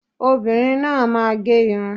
Obinrin náà a máa ge̩ irun.